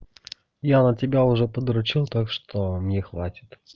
я на тебя уже подрочил так что мне хватит